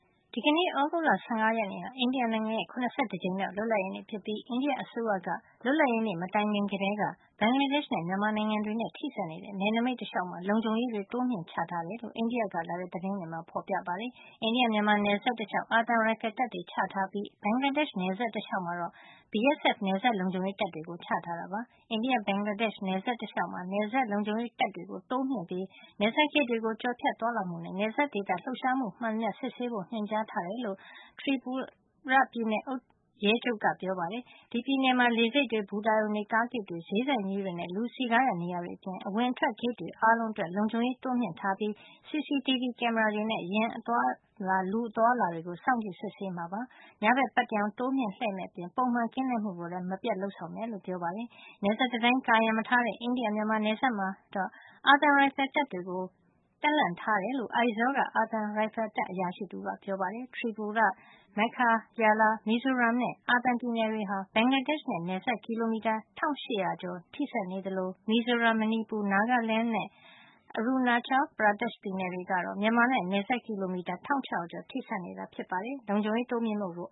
ဒီကနေ့ သြဂုတ်လ ၁၅ ရက်နေ့ဟာ အိန္ဒိယနိုင်ငံရဲ့ ၇၁ ကြိမ်မြောက် လွတ်လပ်ရေးနေ့ဖြစ်ပြီး အိန္ဒိယအစိုးရက လွတ်လပ်ရေးနေ့ မတိုင်ခင်ကတည်းက ဘင်္ဂလားဒေ့ရှ်နဲ့ မြန်မာနိုင်ငံတွေနဲ့ ထိစပ်နေတဲ့ နယ်နိမိတ်တလျှောက် လုံခြုံရေးတွေ တိုးမြှင့်ချထားကြောင်း အိန္ဒိယက လာတဲ့ သတင်းတွေမှာ ဖေါ်ပြထားပါတယ်။ အိန္ဒိယ- မြန်မာနယ်စပ်တလျှောက် အာသံရိုင်ဖယ်တပ်တွေကို ချထားတာ ဖြစ်ပြီး ဘင်္ဂလားဒေ့ရှ် နယ်စပ်တလျှောက်မှာတော့ BSF နယ်စပ်လုံခြုံရေး တပ်တွေကို ချထားတာ ဖြစ်ပါတယ်။ အိန္ဒိယ -ဘင်္ဂလာဒေ့ရှ်နယ်စပ်တလျှောက်မှာ နယ်စပ်လုံခြုံရေး တပ်တွေတိုးမြှင့်ချထားပြီး နယ်စပ်ဂိတ်တွေက ကျော်ဖြတ်သွားလာမှုနဲ့ နယ်စပ်ဒေသ လှုပ်ရှားမှုမှန်သမျှကို စစ်ဆေးဖို့ ညွှန်ကြားထားကြောင်း Tripura ပြည်နယ်ရဲချုပ် K.V. Sreejesh က ပြောပါတယ်။ Tripura ပြည်နယ်မှာ လေဆိပ်တွေ၊ ဘူတာရုံတွေ၊ ကားဂိတ်တွေ၊ ဈေးဆိုင်ကြီးတွေနဲ့ လူစည်ကားရာ နေရာတွေအပြင် အဝင်အထွက် ဂိတ်တွေ အားလုံးအတွက် လုံခြုံရေးကို တိုးမြှင့်ထားပြီး CCTV ကင်မရာတွေနဲ့ ယာဉ်နဲ့ လူအသွားအလာတွေ ကို စောင့်ကြည့်စစ်ဆေးမှာ ဖြစ်ကြောင်းလည်း ပြောပါတယ်။ ညဘက် ပတ္တရောင်လှည့်တာကို တိုးမြှင့်မယ့်အပြင် ပုံမှန်ကင်းလှည့်မှုကိုလည်း မပြတ် လုပ်ဆောင်မယ်လို့ ပြောပါတယ်။ နယ်စပ်တံတိုင်း ကာရံမထားတဲ့ အိန္ဒိယ - မြန်မာနယ်စပ်မှာတော့ အာသံရိုင်ဖယ်တပ်တွေကို တပ်လှန့်ထားတယ်လို့ Aizawl က အာသံရိုင်ဖယ်တပ် အရာရှိတဦးကပြောပါတယ်။ Tripura, Meghalaya, မီဇိုရမ်နဲ့ အာသံ ပြည်နယ်တွေဟာ ဘင်္ဂလားဒေ့ရှ်နဲ့ နယ်စပ် ကီလိုမီတာ ၁၈၈၀ ထိစပ်နေသလို မီဇိုရမ်၊ မဏီပူ၊ Nagaland နဲ့ Arunachal Pradesh ပြည်နယ်တွေကတော့ မြန်မာနဲ့ နယ်စပ် ကီလိုမီတာ ၁၆၀၀ ကျော် ထိစပ်နေတာ ဖြစ်ပါတယ်။ လုံခြုံရေး တိုးမြှင့်မှုကို